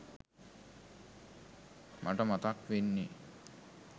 මට මතක් වෙන්නෙ